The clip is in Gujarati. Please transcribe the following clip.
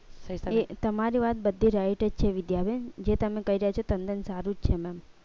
તમારી વાત બધી right વિધા બેન છે જે તમે કઈ રહ્યા છે તંદન સારું જ છે mem